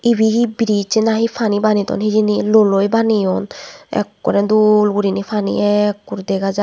ebey he biriz nahi pani bane ton hejeni luwo loi baneyun akorey dol guri ney pani ekkur dega jai.